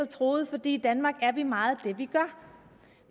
truet fordi i danmark er vi meget det vi gør